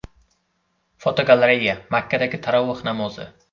Fotogalereya: Makkadagi taroveh namozi.